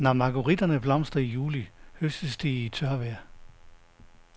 Når margueritterne blomstrer i juli høstes de i tørvejr.